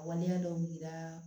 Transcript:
A waleya dɔw dira